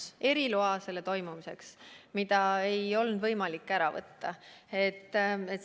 See oli eriluba ürituse toimumiseks ja seda ei olnud võimalik ära võtta.